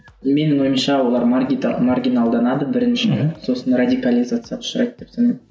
менің ойымша олар маргиналданады біріншіден сосын радикализацияға ұшырайды деп санаймын